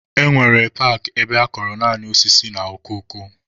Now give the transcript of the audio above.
E nwere paakị ebe akọrọ naanị osisi na okoko.